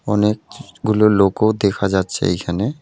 অনেকগুলো লোকও দেখা যাচ্ছে এইখানে।